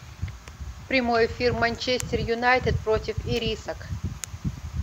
прямой эфир манчестер юнайтед против ирисок